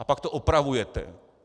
A pak to opravujete.